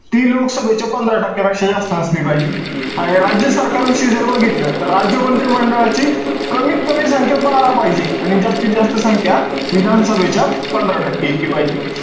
ती लोकसभेच्या पंधरा टक्क्यापेक्षा जास्त असली पाहिजे. आणि राज्य सरकारविषयी जर बघितलं, तर राज्य मंत्रिमंडळाची कमीत कमी संख्या बारा पाहिजे. आणि जास्तीत जास्त संख्या, विधानसभेच्या पंधरा टक्के इतकी पाहिजे.